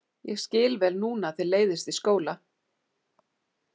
Ég skil vel núna að þér leiðist í skóla.